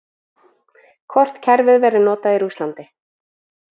Hvort kerfið verður notað í Rússlandi?